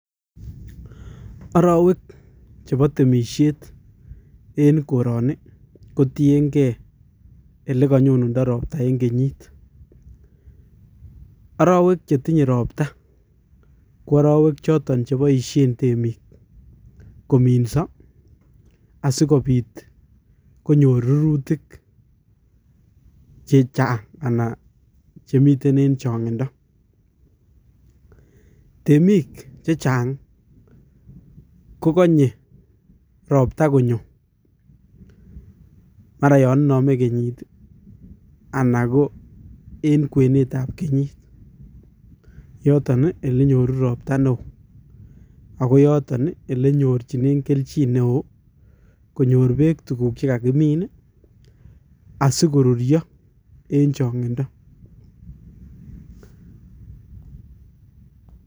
Arowek chebo temisiet eng' koroni kotiengei ele kanyonundo robta eng' kenyit. Arowek chetinye robta ko arowek choton cheboisie temik kominso asikobit konyor rurutik chechang' ana chemiten eng' chong'indo. Temik chechang koganye robta konyo mara yon iname kenyit, anan ko eng' kwenetab kenyit. Yoton ii eli nyoru robta neo, ago yoton ii ele nyorchin kelnjin neo konyor beek tuguuk che kagimin asigoruryo eng' chong'indo.